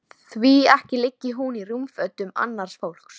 Mikið lifandis skelfing sem þér hafið gert mikið fyrir okkur.